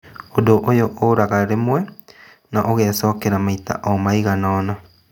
Ũndũ ũyũ ũraga rĩmwe na ũgecokera maita omaiganona